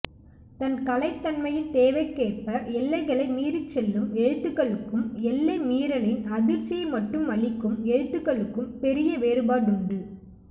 தன் கலைத்தன்மையின் தேவைக்கேற்ப எல்லைகளை மீறிச்செல்லும் எழுத்துக்களுக்கும் எல்லைமீறலின் அதிர்ச்சியை மட்டும் அளிக்கும் எழுத்துக்களுக்கும் பெரிய வேறுபாடுண்டு